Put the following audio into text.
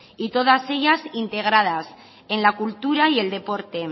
y todas ellas integradas en la cultura y el deporte